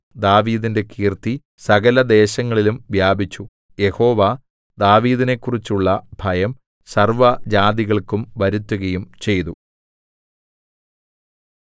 ദാവീദിന്റെ കീർത്തി സകലദേശങ്ങളിലും വ്യാപിച്ചു യഹോവ ദാവീദിനെക്കുറിച്ചുള്ള ഭയം സർവ്വജാതികൾക്കും വരുത്തുകയും ചെയ്തു